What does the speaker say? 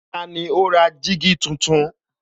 Tani ó ní jígí tuntun?